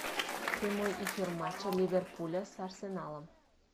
прямой эфир матча ливерпуля с арсеналом